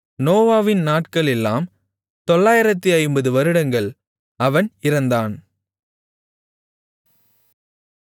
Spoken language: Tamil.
நோவாவின் நாட்களெல்லாம் 950 வருடங்கள் அவன் இறந்தான்